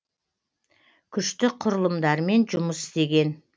күштік құрылымдармен жұмыс істеген